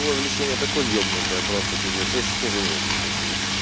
о увлечение такой ебнутый я просто пиздец я чуть не женился честно